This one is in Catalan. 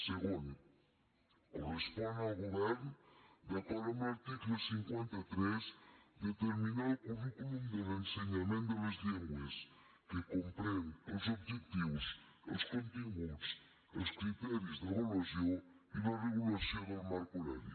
segon correspon al govern d’acord amb l’article cinquanta tres determinar el currículum de l’ensenyament de les llengües que comprèn els objectius els continguts els criteris d’avaluació i la regulació del marc horari